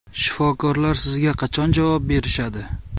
Shifokorlar sizga qachon javob berishadi?